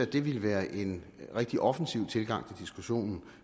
det ville være en rigtig offensiv tilgang diskussionen